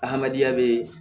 Adamadenya bɛ